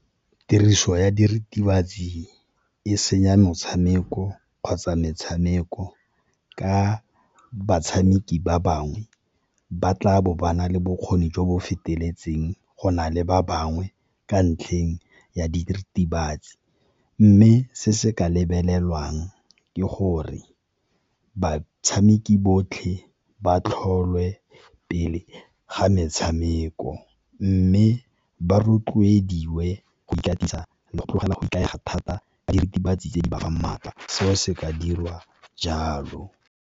Tiriso ya diritibatsi e senya metshameko kgotsa metshameko ka batshameki ba bangwe, ba tla bo ba na le bokgoni jo bo feteletseng go na le ba bangwe ka ntlheng ya diritibatsi. Mme se se ka lebelelwang ke gore batshameki botlhe ba tlholwe pele ga metshameko, mme ba rotloediwe go ikatisa le go tlogela go ikaega thata diritibatsi tse di ba fang maatla seo se ka dirwa jalo.